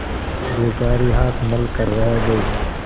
बेचारी हाथ मल कर रह गयी